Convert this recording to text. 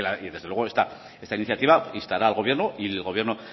y que desde luego esta iniciativa instará al gobierno y el gobierno